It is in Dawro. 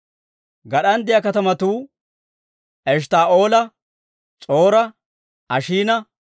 Gad'an de'iyaa katamatuu Eshttaa'oola, S'or"a, Ashiina,